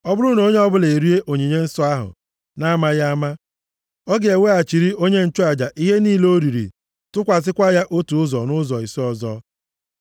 “ ‘Ọ bụrụ na onye ọbụla erie onyinye nsọ ahụ na-amaghị ama, ọ ga-eweghachiri onye nchụaja ihe niile o riri tụkwasịkwa ya otu ụzọ nʼụzọ ise ọzọ.